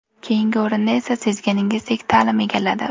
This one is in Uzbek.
Keyingi o‘rinni esa, sezganingizdek, ta’lim egalladi.